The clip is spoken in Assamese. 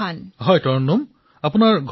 প্ৰধানমন্ত্ৰীঃ তৰন্নুম আপুনি কোন ঠাইৰ